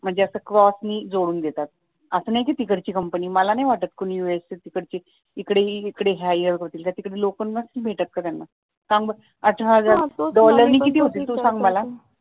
म्हणजे असं क्रॉस नि जोडून देतात असं नाही कि तिकडची कंपनी मला नाही वाटत कि तिकडंच कुणी इकडे ह्या एरियात येतील तिकडची लोक नसतील भेटत का त्यांना थांब अठराहजार डॉलरनी